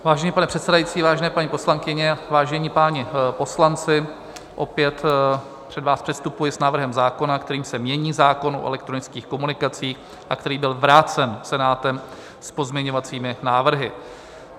Vážený pane předsedající, vážené paní poslankyně, vážení páni poslanci, opět před vás předstupuji s návrhem zákona, kterým se mění zákon o elektronických komunikacích a který byl vrácen Senátem s pozměňovacími návrhy.